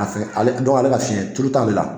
A ka fiɲɛn, ale ka fiɲɛ, tulu t'ale la.